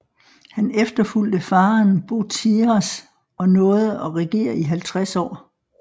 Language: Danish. Han efterfulgte faderen Boteiras og nåede at regere i halvtreds år